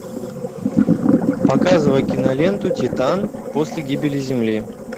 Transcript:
показывай киноленту титан после гибели земли